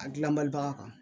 A gilan balibaga kan